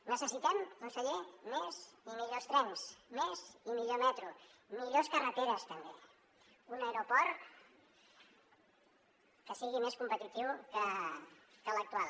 necessitem conseller més i millors trens més i millor metro millors carreteres també un aeroport que sigui més competitiu que l’actual